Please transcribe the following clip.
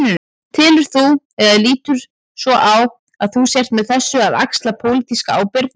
Telur þú, eða lítur svo á að þú sért með þessu að axla pólitíska ábyrgð?